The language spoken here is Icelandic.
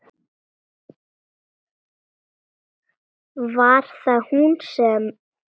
Var það hún sem.?